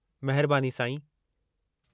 महिरबानी, साईं।